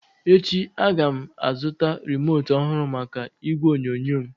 Echi a ga m azụta remote ọhụrụ maka igwe onyonyo m